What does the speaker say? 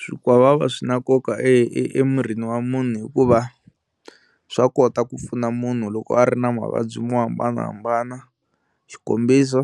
Swikwavava swi na nkoka e emirini wa munhu hikuva swa kota ku pfuna munhu loko a ri na mavabyi mo hambanahambana xikombiso